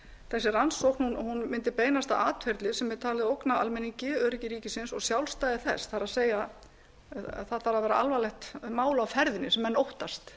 þessi rannsókn mundi beinast að atferli sem er talið ógna almenningi öryggi ríkisins og sjálfstæði þess það er það þarf að vera alvarlegt mál á ferðinni sem menn óttast